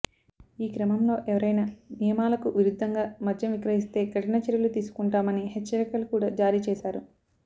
ఈ క్రమంలో ఎవరైనా నియమాలకు విరుద్ధంగా మద్యం విక్రయిస్తే కఠిన చర్యలు తీసుకుంటామని హెచ్చరికలు కూడా జారీ చేశారు